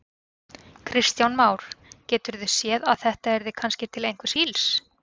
Kristján Már: Geturðu séð að þetta yrði kannski til einhvers ills?